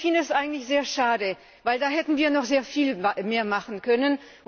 Ich finde das eigentlich sehr schade, denn da hätten wir noch sehr viel mehr machen können.